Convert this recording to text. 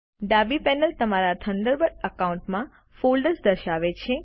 ડાબી પેનલ તમારા Thunderbird account માં ફોલ્ડર્સ દર્શાવે છે